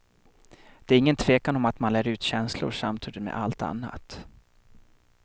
Det är ingen tvekan om att man lär ut känslor samtidigt med allt annat.